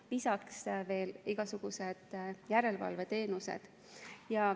Lisaks on veel igasugused järelevalveteenused.